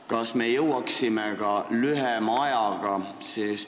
Kas me jõuaksime ka lühema ajaga?